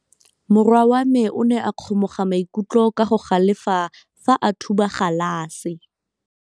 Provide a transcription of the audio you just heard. Morwa wa me o ne a kgomoga maikutlo ka go galefa fa a thuba galase.